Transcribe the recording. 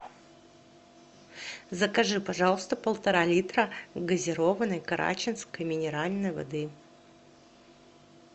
закажи пожалуйста полтора литра газированной карачинской минеральной воды